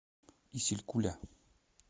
исилькуля